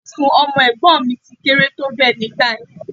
Ibùsùn ọmọ ẹ̀gbọ́n mi ti kéré tó bẹ́ẹ̀ nígbà yẹn